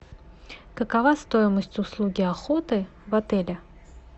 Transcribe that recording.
какова стоимость услуги охоты в отеле